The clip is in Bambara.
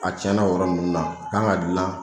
A cɛnna o yɔrɔ ninnu na a kan ka gilan